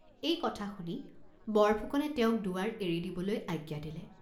এই কথা শুনি বৰফুকনে তেওঁক দুৱাৰ এৰি দিবলৈ আজ্ঞা দিলে।